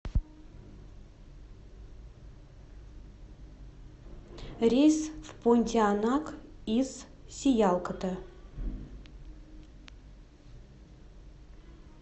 рейс в понтианак из сиялкота